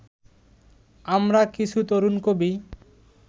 আমরা কিছু তরুণ কবি